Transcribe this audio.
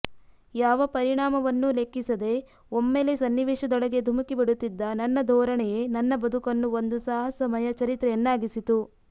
ಯಾವ ಪರಿಣಾಮವನ್ನೂ ಲೆಕ್ಕಿಸದೆ ಒಮ್ಮೆಲೆ ಸನ್ನಿವೇಶದೊಳಗೆ ಧುಮುಕಿಬಿಡುತ್ತಿದ್ದ ನನ್ನ ಧೋರಣೆಯೇ ನನ್ನ ಬದುಕನ್ನು ಒಂದು ಸಾಹಸಮಯ ಚರಿತ್ರೆಯನ್ನಾಗಿಸಿತು